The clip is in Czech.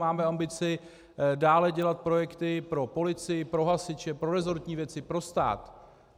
Máme ambici dále dělat projekty pro policii, pro hasiče, pro resortní věci, pro stát.